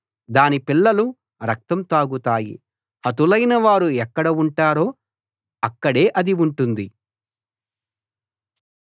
దాని పిల్లలు రక్తం తాగుతాయి హతులైనవారు ఎక్కడ ఉంటారో అక్కడే అది ఉంటుంది